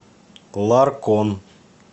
ларкон